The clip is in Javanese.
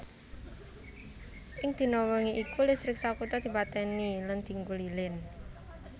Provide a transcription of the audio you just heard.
Ing dina wengi iku listrik sakutha dipatèni lan dienggo lilin